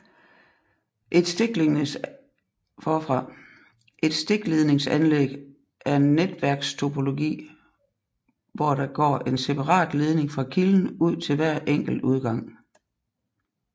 Et stikledningsanlæg er en netværkstopologi hvor der går en separat ledning fra kilden ud til hver enkelt udgang